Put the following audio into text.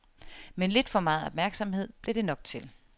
Men lidt for meget opmærksomhed blev det nok til.